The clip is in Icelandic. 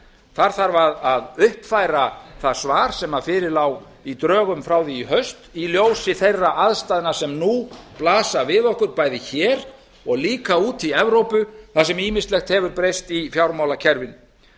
þar þarf að uppfæra það svar sem fyrir lá í drögum frá því í haust í ljósi þeirra aðstæðna sem nú blasa við okkur bæði hér og líka úti í evrópu þar sem ýmislegt hefur breyst í fjármálakerfinu